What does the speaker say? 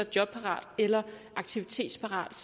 jobparat eller aktivitetsparat